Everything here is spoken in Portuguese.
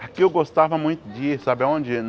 Aqui eu gostava muito de ir, sabe onde?